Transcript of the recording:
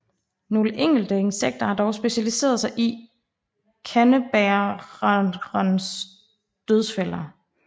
Nogle enkelte insekter har dog specialiseret sig i at leve i kandebærerens dødsfælder